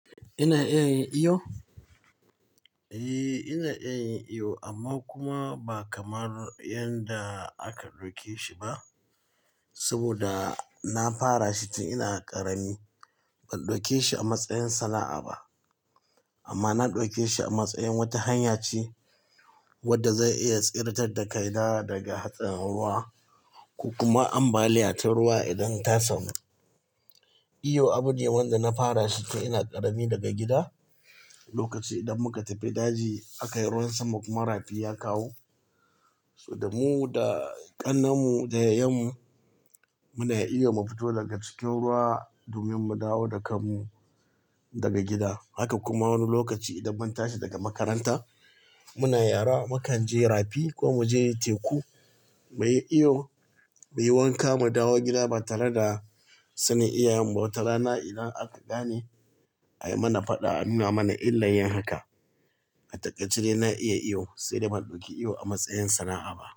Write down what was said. Ina iya yin iyo? Eh, ina iya yin iyo amma kuma ba kamar yanda aka ɗauke shi ba. Saboda na fara shi tun ina ƙarami. Ban ɗauke shi a matsayin sana'a ba amma na ɗauke shi a matsayin wata hanya ce wadda zai iya tsiretar da ka da daga hatsarin ruwa, ko kuma ambaliya ta ruwa idan ta samu. Iyo abune wanda na fara shi tun ina ƙarami daga gida. Lokaci idan muka tafi daji, aka yi ruwan sama kuma rafi ya kawo, so da mu da ƙannen mu da yayan mu muna iya mu fito daga cikin ruwa domin mu dawo da kan mu daga gida. Haka kuma wani lokaci idan mun tashi daga makaranta muna yara mukan je rafi ko mu je teku muyi iyo, muyi wanka mu dawo gida ba tare da sanin iyayen mu ba. Wata rana idan aka gane ai mana faɗa an nuna mana illar yin haka. A takaice da na iya iyo sai da ban ɗauki iyo a matsayin sana'a ba.